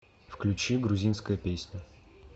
включи грузинская песня